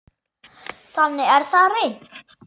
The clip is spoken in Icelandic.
Þannig er það í reynd.